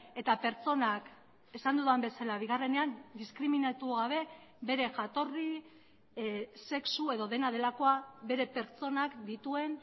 eta pertsonak esan dudan bezala bigarrenean diskriminatu gabe bere jatorri sexu edo dena delakoa bere pertsonak dituen